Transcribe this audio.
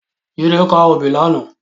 Jide kâ óbì làná